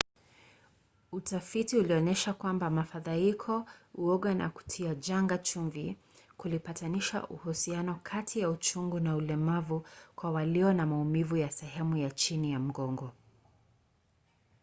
utafiti ulionyesha kwamba mafadhaiko uoga na kutia janga chumvi kulipatanisha uhusiano kati ya uchungu na ulemavu kwa walio na maumivu ya sehemu ya chini ya mgongo